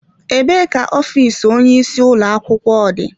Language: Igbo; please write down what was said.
Ebee ka ofiisi onye isi ụlọ akwụkwọ dị?